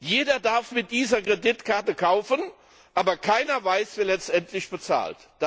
Jeder darf mit dieser Kreditkarte kaufen, aber keiner weiß, wer letztendlich bezahlt.